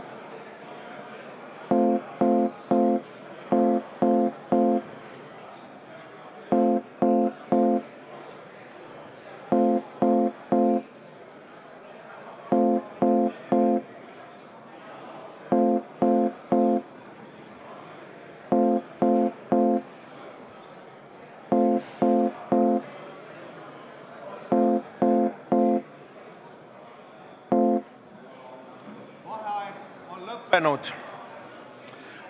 Vaheaeg on lõppenud.